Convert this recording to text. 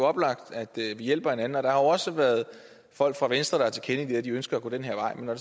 oplagt at vi hjælper hinanden der har også været folk fra venstre der har tilkendegivet at de ønsker at gå den her vej men når